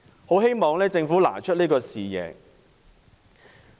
很希望政府能拿出這種視野。